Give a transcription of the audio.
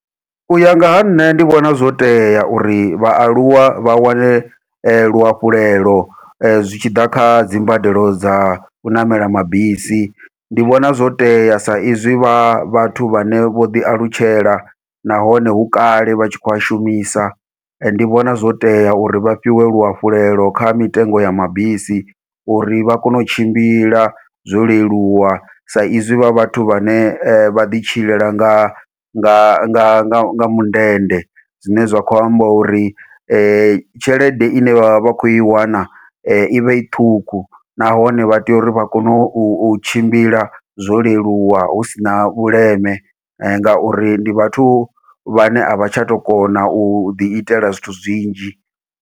Uya nga ha nṋe ndi vhona zwo tea uri vhaaluwa vha wane luhafhulelo zwitshiḓa kha dzimbadelo dzau ṋamela mabisi, ndi vhona zwo tea sa izwi vha vhathu vhane vho ḓi alutshela nahone hu kale vha tshi khou a shumisa, ndi vhona zwo tea uri vha fhiwe luhafhulelo kha mitengo ya mabisi uri vha kone u tshimbila zwo leluwa sa izwi vha vhathu vhane vha ḓi tshilela nga nga nga nga mundende. Zwine zwa khou amba uri tshelede ine vha vha vha khou i wana ivha i ṱhukhu, nahone vha tea uri vha kone u tshimbila zwo leluwa hu sina vhuleme ngauri ndi vhathu vhane avha tsha tou kona uḓi itela zwithu zwinzhi.